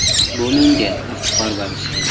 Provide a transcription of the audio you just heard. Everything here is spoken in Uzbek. Bu menga iftixor bag‘ishlaydi.